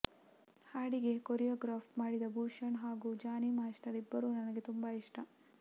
ಹಾಡಿಗೆ ಕೋರಿಯಗ್ರಾಫ್ ಮಾಡಿದ ಭೂಷಣ್ ಹಾಗೂ ಜಾನಿ ಮಾಸ್ಟರ್ ಇಬ್ಬರು ನನಗೆ ತುಂಬ ಇಷ್ಟ